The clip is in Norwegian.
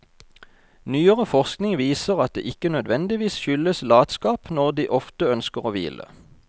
Nyere forskning viser at det ikke nødvendigvis skyldes latskap når de ofte ønsker å hvile.